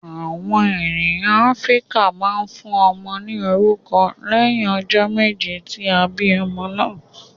Awọn ènìyàn Áfíríkà máa ń fún ọmọ ní orúkọ lẹhin ọjọ méje tí a bí ọmọ náà